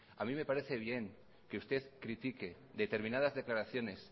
a mí me parece bien que usted critique determinadas declaraciones